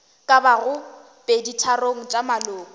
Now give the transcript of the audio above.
ka bago peditharong tša maloko